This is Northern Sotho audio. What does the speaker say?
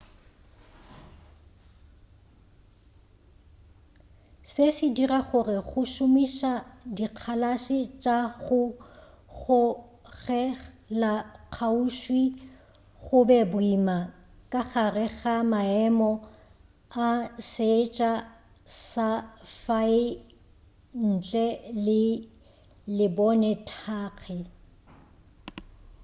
se se dira gore go šomiša dikgalase tša go gogelakgauswi go be boima ka gare ga maemo a seetša sa fae ntle le lebonethagi